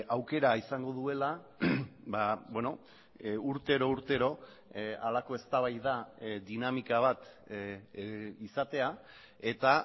aukera izango duela urtero urtero halako eztabaida dinamika bat izatea eta